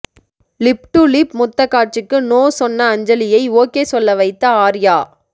lip to lip முத்தக் காட்சிக்கு no சொன்ன அஞ்சலியை ஓகே சொல்ல வைத்த ஆர்யா